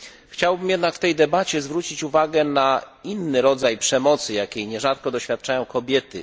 Chciałbym jednak w tej debacie zwrócić uwagę na inny rodzaj przemocy, jakiej nierzadko doświadczają kobiety.